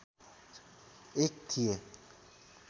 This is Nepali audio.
एक थिए